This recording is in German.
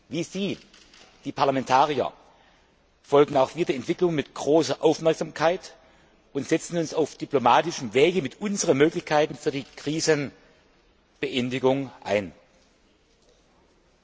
Wie Sie, die Parlamentarier, verfolgen auch wir die Entwicklungen mit großer Aufmerksamkeit und setzen uns auf diplomatischem Weg mit unseren Möglichkeiten für die Beendigung der Krise ein.